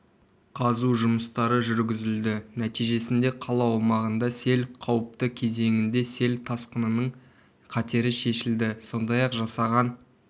қазу жұмыстары жүргізілді нәтижесінде қала аумағында сел қауіпті кезеңінде сел тасқынының қатері шешілді сондай-ақ жасаған